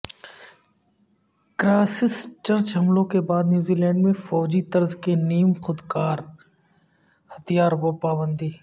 Christ church حملوں کے بعد نیوزی لینڈ میں فوجی طرز کے نیم خودکار ہتھیاروں پرپابندی